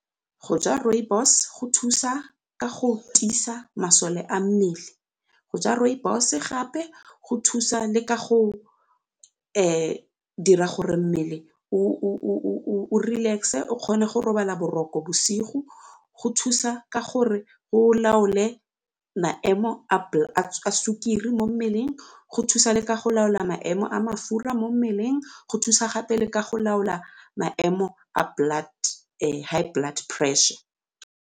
Go ja rooibos go thusa ka go tiisa masole a mmele, go ja rooibos gape go thusa le ka go dira gore mmele relax-e o kgone go robala boroko bosigo, go thusa ka gore o laole maemo a sukiri mo mmeleng, go thusa le ka go laola maemo a mafura mo mmeleng, go thusa gape le ka go laola maemo a high blood pressure.